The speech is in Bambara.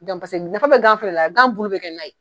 Gan paseke nafa be gan fɛnɛ na gan bulu be kɛ na ye